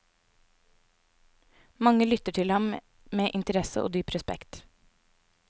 Mange lytter til ham med interesse og dyp respekt.